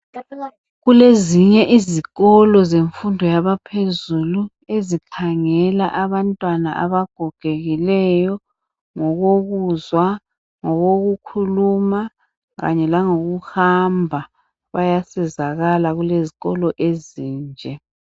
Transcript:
Kulezinye izikolo zemfundo yabaphezulu ezikhangela abantwana abagogekileyo ngokokuzwa, ngokokukhuluma kanye langokuhamba, bayasizakala kulezikolo ezinje.